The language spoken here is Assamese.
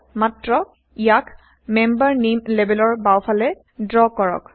মাত্ৰ ইয়াক মেম্বাৰ নেইম লেবেলৰ বাওফালে ড্ৰ কৰক